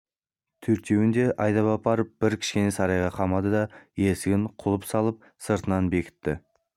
төртеуін де айдап апарып бір кішкене сарайға қамады да есігіне құлып салып сыртынан бекітті